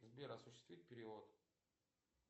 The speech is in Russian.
сбер осуществить перевод